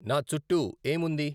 నా చుట్టూ ఏం ఉంది